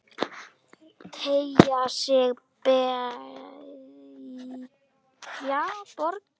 Teygja sig, beygja, bogra.